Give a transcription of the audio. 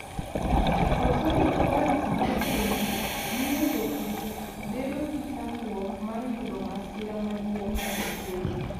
Koso insurane mar gwen mio jopith bedo gi chandruok mar yudo masira maduong mag tuoche